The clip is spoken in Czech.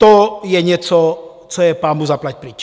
To je něco, co je pánbůh zaplať pryč.